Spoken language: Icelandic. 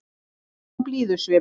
Kalla fram blíðusvip.